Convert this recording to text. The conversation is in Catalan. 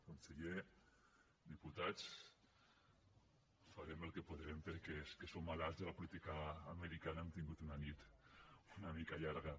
conseller diputats farem el que podrem perquè els que som malalts de la política americana hem tingut una nit una mica llarga